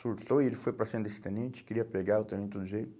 Surtou e ele foi para cima desse tenente, queria pegar o tenente do jeito.